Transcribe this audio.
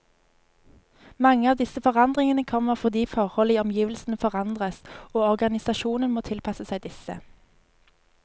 Mange av disse forandringene kommer fordi forhold i omgivelsene forandres, og organisasjonen må tilpasse seg disse.